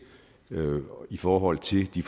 i forhold til de